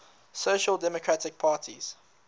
social democratic parties